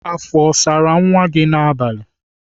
Afọ ọ sara nwa gị n'abalị?